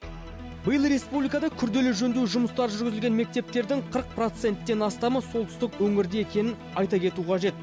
биыл республикада күрделі жөндеу жұмыстары жүргізілген мектептердің қырық проценттен астамы солтүстік өңірде екенін айта кету қажет